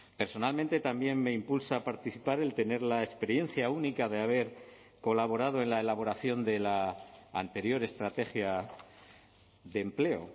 personalmente también me impulsa a participar el tener la experiencia única de haber colaborado en la elaboración de la anterior estrategia de empleo